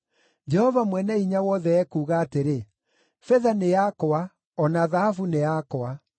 Jehova Mwene-Hinya-Wothe ekuuga atĩrĩ, ‘Betha nĩ yakwa, o na thahabu nĩ yakwa.